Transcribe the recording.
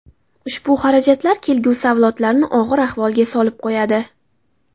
Ushbu xarajatlar kelgusi avlodlarni og‘ir ahvolga solib qo‘yadi.